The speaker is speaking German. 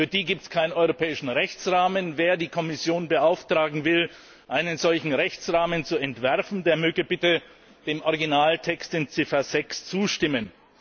Für diese gibt es keinen europäischen Rechtsrahmen. Wer die Kommission beauftragen möchte, einen solchen Rechtsrahmen zu entwerfen, der möge bitte dem Originaltext in Ziffer 6 zustimmen.